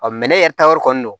ne yɛrɛ taayɔrɔ kɔni don